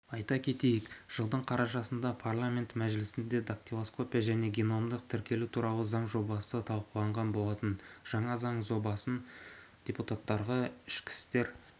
айта кетейік жылдың қарашасында парламенті мәжілісінде дактилоскопия және геномдық тіркеу туралы заң жобасы талқыланған болатын жаңа заң жобасын депутаттарға ішкі істер